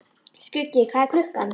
Skuggi, hvað er klukkan?